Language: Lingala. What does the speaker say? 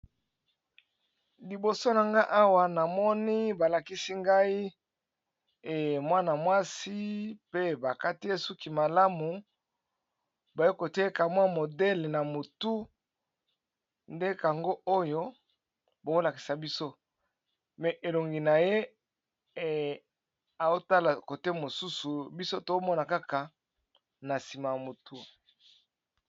Liboso na nga awa na moni balakisi ngai emwana mwasi pe bakati esuki malamu bayokotieka mwa modele na motu nde kango oyo bakolakisa biso me elongi na ye eotala kote mosusu biso tomona kaka na nsima ya motu.